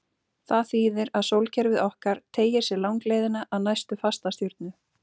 Það þýðir að sólkerfið okkar teygir sig langleiðina að næstu fastastjörnu.